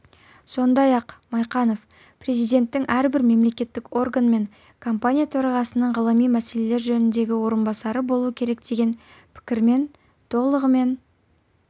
сондай-ақ майқанов президенттің әрбір мемлекеттік орган мен компания төрағасының ғылыми мәселелер жөніндегі орынбасары болу керекдеген пікірімен толығымен